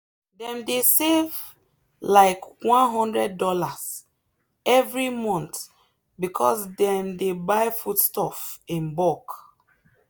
dem dey save like one hundred dollarsevery month because dem dey buy foodstuff in bulk.